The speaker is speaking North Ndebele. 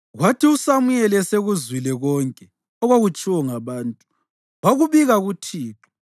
Kwathi uSamuyeli esekuzwile konke okwakutshiwo ngabantu, wakubika kuThixo.